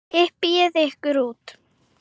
Hypjið ykkur út.